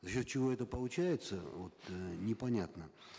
за счет чего это получается вот непонятно